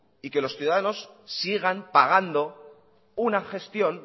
y que los ciudadanos sigan pagando una gestión